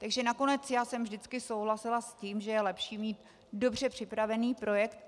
Takže nakonec já jsem vždycky souhlasila s tím, že je lepší mít dobře připravený projekt.